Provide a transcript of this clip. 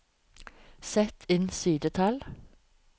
Sett inn sidetall